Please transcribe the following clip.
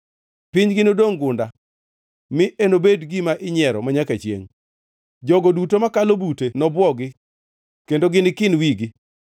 Pinygi nodongʼ gunda, mi enobedi gima inyiero manyaka chiengʼ; jogo duto makalo bute nobwogi kendo gini kin wigi.